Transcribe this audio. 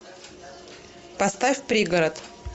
поставь пригород